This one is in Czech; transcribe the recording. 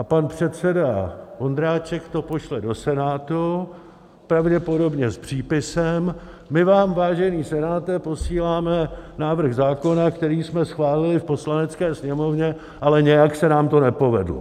A pan předseda Vondráček to pošle do Senátu, pravděpodobně s přípisem: My vám, vážený Senáte, posíláme návrh zákona, který jsme schválili v Poslanecké sněmovně, ale nějak se nám to nepovedlo.